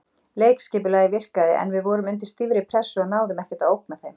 Leikskipulagið virkaði en við vorum undir stífri pressu og náðum ekkert að ógna þeim.